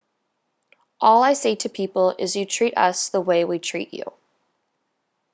all i say to people is you treat us the way we treat you